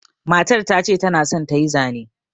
Matar ta ce ta na son ta yi zane.